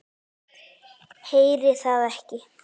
Heyri það ekki.